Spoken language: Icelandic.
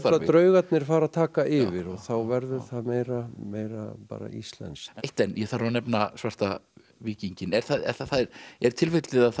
draugarnir fara að taka yfir og þá verður það meira meira bara íslenskt eitt enn ég þarf að nefna svarta víkinginn er er tilfellið að